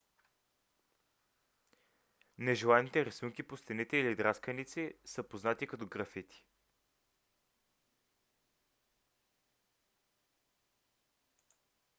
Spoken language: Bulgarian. нежеланите рисунки по стените или драсканици са познати като графити